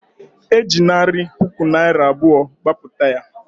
E ji narị puku naịra abụọ gbapụta ya